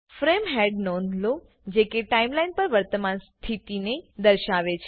frame હેડની નોંધ લો જે કે ટાઈમ લાઈન પર વર્તમાન સ્થિતિને દર્શાવે છે